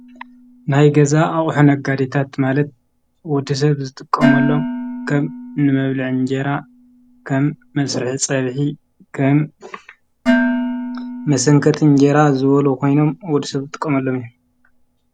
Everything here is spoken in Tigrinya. ናይ ገዛ ኣቕሕነጋዲታት ማለት ውዲ ሰብ ዝጥቆመሎም ከም ንመብልዕ እንጀይራ ከም መሥርሕ ጸብሒ ኸም መሰንከት እንጀይራ ዝወሎ ኾይኖም ወዲ ሰብ ዝጥቆምሎም እየ።